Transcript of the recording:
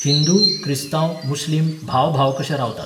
हिंदू, क्रिस्तांव, मुस्लीम भाव भाव कशे रावतात.